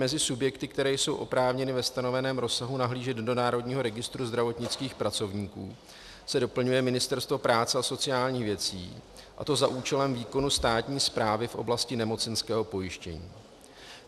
Mezi subjekty, které jsou oprávněny ve stanoveném rozsahu nahlížet do Národního registru zdravotnických pracovníků, se doplňuje Ministerstvo práce a sociálních věcí, a to za účelem výkonu státní správy v oblasti nemocenského pojištění.